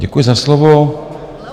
Děkuji za slovo.